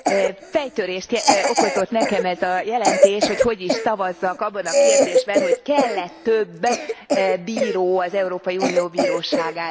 Fejtörést okozott nekem ez a jelentés, hogy hogy is szavazzak abban a kérdésben, hogy kell e több bíró az Európai Unió Bíróságára.